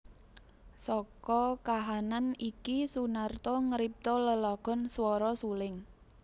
Saka kahanan iki Soenarto ngripta lelagon Swara Suling